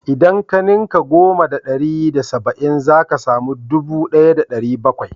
Idan ka ninka goma da ɗari da saba'in zaka samu ɗubu ɗaya da ɗari bakwai